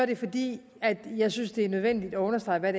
det fordi jeg synes det er nødvendigt at understrege hvad